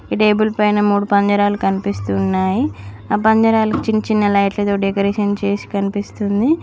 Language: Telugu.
ఈ టేబుల్ పైన మూడు పంజరాలు కనిపిస్తు ఉన్నాయి. ఆ పంజరలక్ చిన్న చిన్న లైట్లతో డెకరేషన్ చేసి కనిపిస్తుంది.